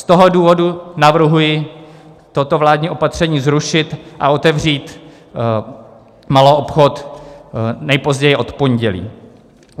Z toho důvodu navrhuji toto vládní opatření zrušit a otevřít maloobchod nejpozději od pondělí.